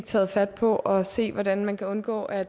tage fat på at se hvordan man kan undgå at